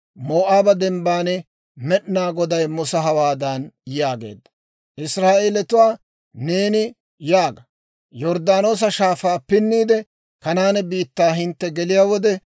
«Israa'eelatuwaa neeni yaaga; ‹Yorddaanoosa Shaafaa pinniide, Kanaane biittaa hintte geliyaa wode,